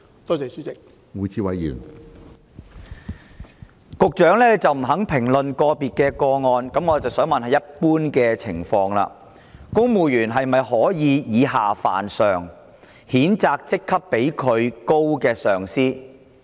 既然局長不肯評論個別個案，在一般情況下，公務員是否可以以下犯上，譴責職級較自己為高的上司？